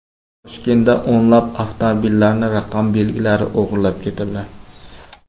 Toshkentda o‘nlab avtomobillarning raqam belgilari o‘g‘irlab ketildi.